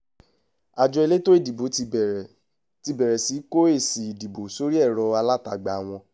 àjọ elétò ìdòbò ti bẹ̀rẹ̀ ti bẹ̀rẹ̀ sí í kó èsì ìdìbò sórí ẹ̀rọ alátagbà wọn